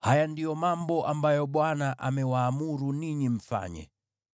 “Haya ndiyo mambo ambayo Bwana amewaamuru ninyi mfanye: